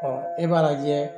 e b'a lajɛ